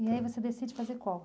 E aí você decide fazer qual?